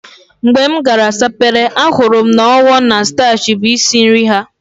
Mgbe m gara Sapele, ahụrụ m na Owo na Stachi bụ isi nri ha